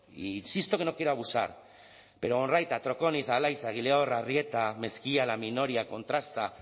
insisto que no quiero abusar pero onraita troconiz alaiza egileor arrieta mezkia laminoria contrasta